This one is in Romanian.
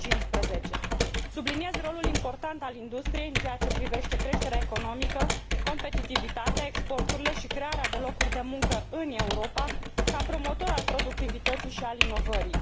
2015. Subliniez rolul important al industriei în ceea ce privește creșterea economică, competitivitatea, exporturile și crearea de locuri de muncă în Europa, ca promotor al productivității și al inovării.